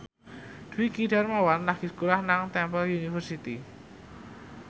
Dwiki Darmawan lagi sekolah nang Temple University